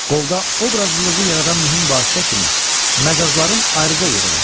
Qolda obrazlılığı yaradan mühüm vasitə kimi məcazların ayrıca yeri var.